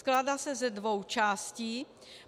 Skládá se ze dvou částí.